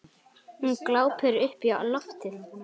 Hún glápir upp í loftið.